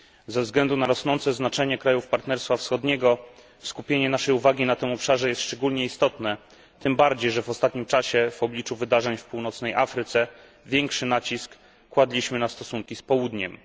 Ze względu na rosnące znaczenie krajów Partnerstwa Wschodniego skupienie naszej uwagi na tym obszarze jest szczególnie istotne, tym bardziej że w ostatnim czasie w obliczu wydarzeń w Północnej Afryce większy nacisk kładliśmy na stosunki z Południem.